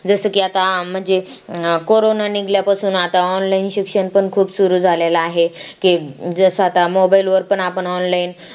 जसं की आता की अं म्हणजे कोरोना निघल्यापासून आता online शिक्षण पण खूप सुरू झालेला आहे की जसा आता mobile वर पण आपण online